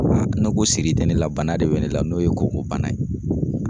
Ne ko siri tɛ ne la bana de be ne la n'o ye koko bana ye;